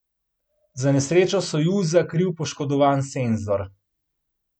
Za nesrečo Sojuza kriv poškodovan senzor.